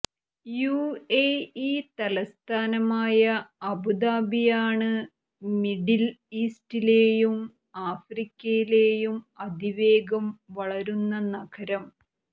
UAE തലസ്ഥാനമായ അബുദാബിയാണ് middle ഈസ്റ്റിലെയും ആഫ്രിക്കയിലെയും അതിവേഗം വളരുന്ന നഗരം